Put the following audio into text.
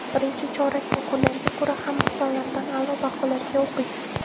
Birinchi chorak yakunlariga ko‘ra, hamma fanlardan a’lo baholarga o‘qigan.